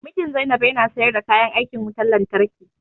Mijin Zainab ya na sayar da kayan aikin wutan lantarki